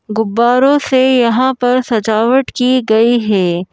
गुब्बारों से यहाँ पर सजावट की गई है।